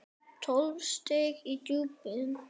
Tólf stig í djúpið.